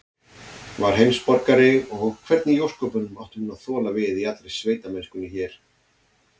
Var heimsborgari, og hvernig í ósköpunum átti hún að þola við í allri sveitamennskunni hér?